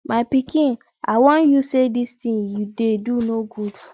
my pikin i wan you say dis thing you dey do no good